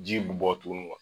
Ji bi bɔ tuguni